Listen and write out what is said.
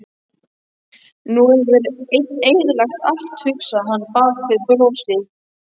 Nú hefur hann eyðilagt allt, hugsaði hann bak við brosið.